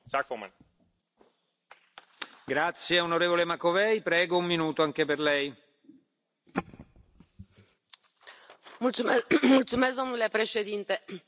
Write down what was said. El Gobierno de Orbán es uno de los más racistas e islamófobos de la Unión Europea y viola gravemente los derechos humanos y el Derecho internacional.